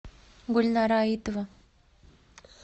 гульнара аитова